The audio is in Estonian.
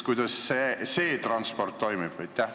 Kuidas see transport toimib?